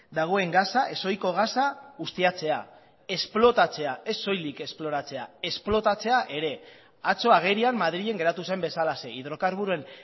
dagoen gasa ez ohiko gasa ustiatzea esplotatzea ez soilik esploratzea esplotatzea ere atzo agerian madrilen geratu zen bezalaxe hidrokarburoen